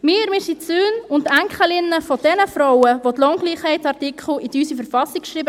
Wir, wir sind die Söhne und Enkelinnen jener Frauen, die den Lohngleichheitsartikel in unsere Verfassung schrieben.